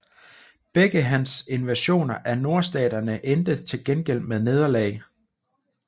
Begge hans invasioner af Nordstaterne endte til gengæld med nederlag